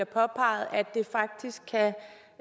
påpeget